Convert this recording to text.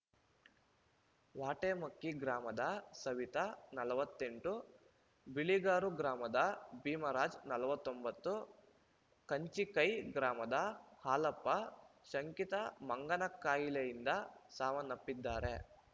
ವಾಟೆಮಕ್ಕಿ ಗ್ರಾಮದ ಸವಿತಾ ನಲವತ್ತೆಂಟು ಬಿಳಿಗಾರು ಗ್ರಾಮದ ಭೀಮರಾಜ್‌ನಲವತ್ತೊಂಬತ್ತು ಕಂಚಿಕೈ ಗ್ರಾಮದ ಹಾಲಪ್ಪ ಶಂಕಿತ ಮಂಗನಕಾಯಿಲೆಯಿಂದ ಸಾವನ್ನಪ್ಪಿದ್ದಾರೆ